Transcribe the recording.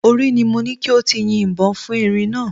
Orí ni mo ní kí o ti yin ìbọn fún erin náà